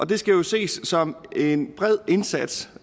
det skal jo ses som en bred indsats